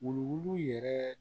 Wuluwulu yɛrɛ